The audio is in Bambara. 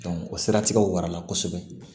o siratigɛw warala kosɛbɛ